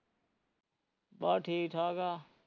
ਬਸ ਠੀਕ ਠਾਕ ਆ